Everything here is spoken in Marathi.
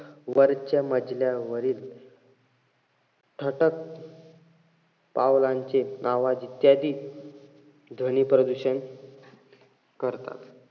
वरच्या मजल्यावरील थटक पावलांचे आवाज इत्यादी ध्वनी प्रदूषण करतात.